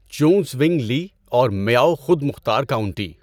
چیونگژونگ Li اور Miao خود مختار کاونٹی